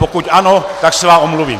Pokud ano, tak se vám omluvím.